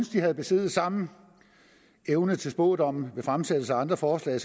de havde besiddet samme evne til spådomme ved fremsættelse af andre forslag